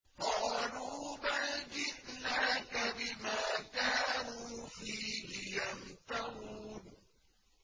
قَالُوا بَلْ جِئْنَاكَ بِمَا كَانُوا فِيهِ يَمْتَرُونَ